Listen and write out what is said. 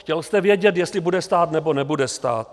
Chtěl jste vědět, jestli bude stát nebo nebude stát.